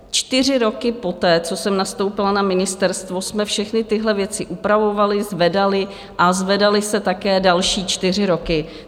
Čtyři roky poté, co jsem nastoupila na ministerstvo, jsme všechny tyhle věci upravovali, zvedali a zvedaly se také další čtyři roky.